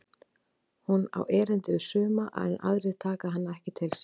Hún á erindi við suma en aðrir taka hana ekki til sín.